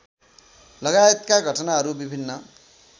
लगायतका घटनाहरू विभिन्न